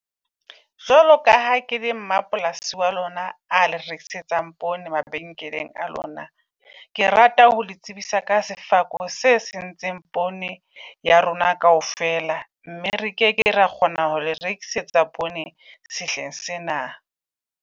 Jwalo ka ha ke le mmapolasi wa lona, a le rekisetsang poone mabenkeleng a lona. Ke rata ho le tsebisa ka sefako se sentseng poone ya rona kaofela, mme re keke ra kgona ho le rekisetsa poone sehleng sena.